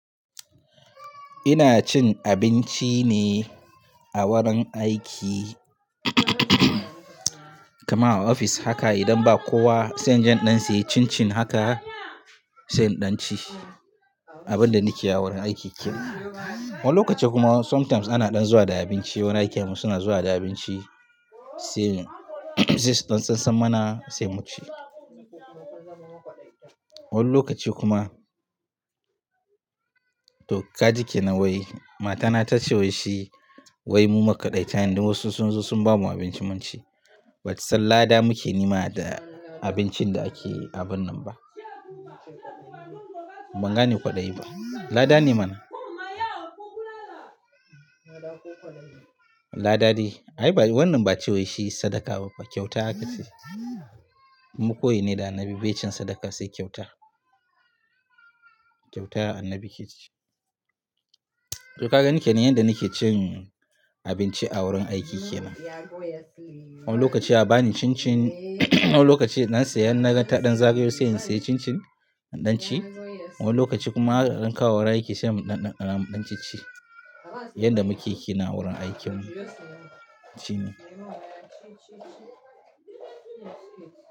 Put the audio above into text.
Ina cin abinci ne a wurin aiki kamar a ofis haka idan ba kowa sai in jan ɗansa yayi cin cin haka, sai in ɗan ci abin da nake ya wurin aiki kenan. Wani lokaci kuma sometimes ana ɗan zuwa da abinci wurin aikin mu suna zuwa da abinci, sai in sai su ɗan san sammana sai mu ci. Wani lokaci kuma to kaji ke nawai, matana ta ce wai shi wai mu makwaɗaita ne don wasu sun zo sun bamu abinci mun ci. Bata san lada muke nema da abincin da ake yi a binnan ba. Ban gane kwaɗayi ba. Lada ne mana? Lada de. Ai ba wannan ba ce wai shi sadaka ba fa kyauta aka ce. Kuma koyi ne da annabi bai cin sadaka sai kyauta. Kyauta annabi ke ci. To kagani kenan yanda nake cin abinci a wurin aiki kenan. Wani lokaci a bani cin cin wani lokaci in dan saya innaga ta ɗan zagayo sai in saya cin cin in ɗan ci. Wani lokaci kuma ana dan kawowa wurin aiki sai mu ɗan ɗan dana mu ɗan ci ci. Yanda muke kenan a wurin aikin mu. Shi ne.